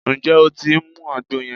Ǹjẹ́ o tí ń mu àgbo yẹn?